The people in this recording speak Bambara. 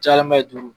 Cayalen mɛ duuru